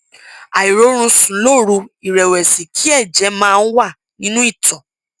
àìrórun sùn lóru ìrẹwẹsì kí ẹjẹ máa ń wà nínú ìtọ